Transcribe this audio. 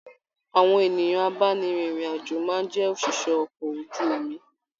Àwọn ènìyàn abáni rìn irin-ajo máa jẹ oṣiṣẹ okọ̀ ojú omi.